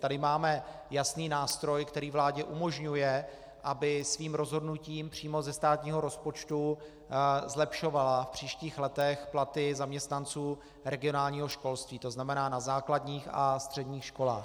Tady máme jasný nástroj, který vládě umožňuje, aby svým rozhodnutím přímo ze státního rozpočtu zlepšovala v příštích letech platy zaměstnanců regionálního školství, to znamená na základních a středních školách.